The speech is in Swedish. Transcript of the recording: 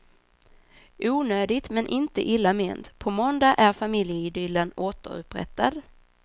Onödigt men inte illa ment, på måndag är familjeidyllen återupprättad.